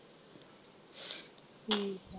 ਠੀਕ ਆ।